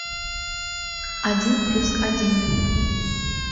один плюс один